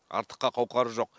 артыққа қауқары жоқ